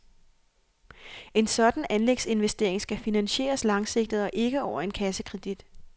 En sådan anlægsinvestering skal finansieres langsigtet og ikke over en kassekredit.